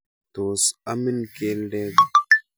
Tos amin keldet?